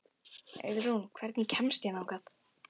Auðrún, hvernig kemst ég þangað?